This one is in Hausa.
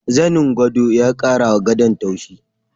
Zanin gwado ya kara wa gadon tauchi.